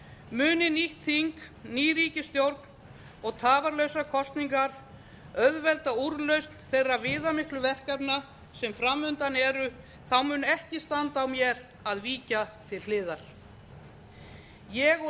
muni nýtt þing ný ríkisstjórn og tafarlausar kosningar auðvelda úrlausn þeirra viðamiklu verkefna sem fram undan eru mun ekki standa á mér að víkja til hliðar ég og